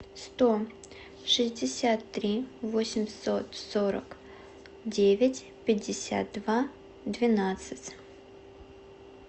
сто шестьдесят три восемьсот сорок девять пятьдесят два двенадцать